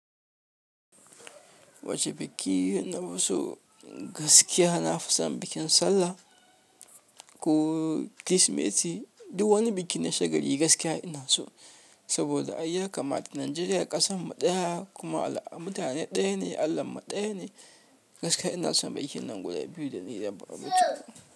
Wacce biki na ma so? Gaskiya na fi son bikin sallah ko Kirsimeti. Du wani biki na shagali gaskiya ina so. Saboda ai ya kama. Nijeriya ƙasan mu ɗaya kuma al'a. Mu mutane ɗaya ne, Allahn mu ɗaya ne. Gaskiya ina son bikin nan guda biyu da na yi daban-daban.